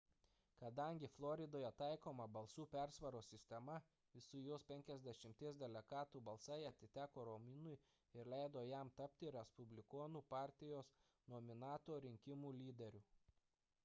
kadangi floridoje taikoma balsų persvaros sistema visų jos penkiasdešimties delegatų balsai atiteko romniui ir leido jam tapti respublikonų partijos nominanto rinkimų lyderiu